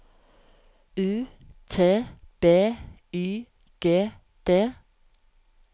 U T B Y G D